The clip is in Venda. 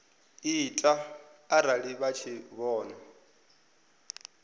ita arali vha tshi vhona